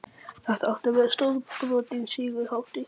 Þetta átti að verða stórbrotin sigurhátíð!